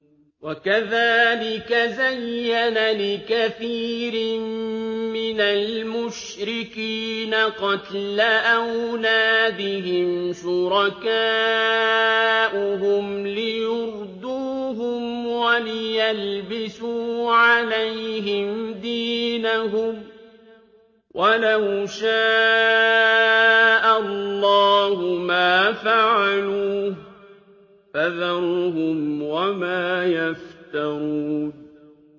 وَكَذَٰلِكَ زَيَّنَ لِكَثِيرٍ مِّنَ الْمُشْرِكِينَ قَتْلَ أَوْلَادِهِمْ شُرَكَاؤُهُمْ لِيُرْدُوهُمْ وَلِيَلْبِسُوا عَلَيْهِمْ دِينَهُمْ ۖ وَلَوْ شَاءَ اللَّهُ مَا فَعَلُوهُ ۖ فَذَرْهُمْ وَمَا يَفْتَرُونَ